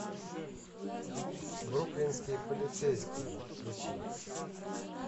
бруклинские полицейские включи